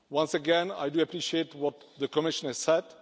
Once again, I do appreciate what the Commissioner said.